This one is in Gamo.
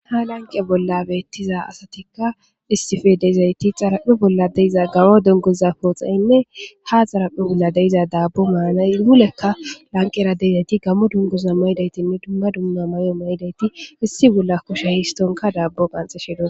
ha lanqe bollabeettiza asatikka istife deyzayti xaraphe bolla deyiza garo dengoza pooxayinne ha xaraphe bolla deyiza daabbo maanayhulekka lanqera deyzayti gammo dungoza maydaytinne dumma dumma may7o maydayti issi bolla kushe histonka daabbo qanxeshedoa